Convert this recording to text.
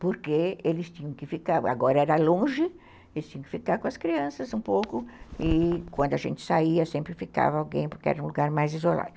porque eles tinham que ficar, agora era longe, eles tinham que ficar com as crianças um pouco, e quando a gente saía sempre ficava alguém, porque era um lugar mais isolado.